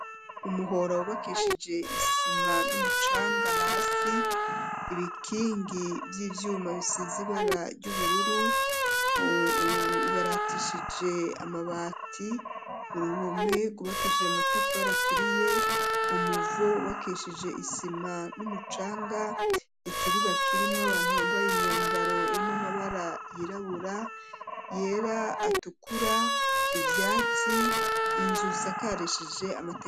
umuhora wubakishije isima n'umucanga hasi ibikingi vy'ivyuma bisize ibara ry'ubururu bibaratishije amabati uruhome gwubakishije amatafari aturiye umuvo wubakishije isima n'umucanga ikibuga k'irimwo abantu bambaye imyambaro imwe amabara yirabura yera atukura ivyatsi n'inzu zisakarishije amatigura.